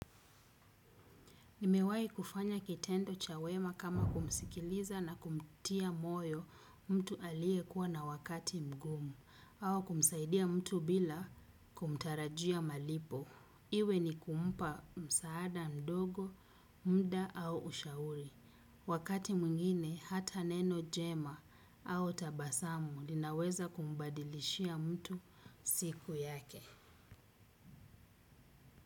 Nimewai kufanya kitendo chawema kama kumsikiliza na kumtia moyo mtu alie kuwa na wakati mgumu au kumsaidia mtu bila kumtarajia malipo. Iwe ni kumpa msaada mdogo, mda au ushauri. Wakati mwingine hata neno jema au tabasamu linaweza kumbadilishia mtu siku yake.